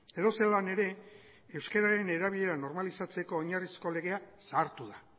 edozelan ere euskararen erabilera normalizatzeko oinarrizko legea zahartu da